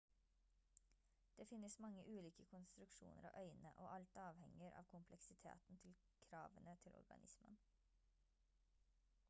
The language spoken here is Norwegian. det finnes mange ulike konstruksjoner av øyne og alt avhenger av kompleksiteten til kravene til organismen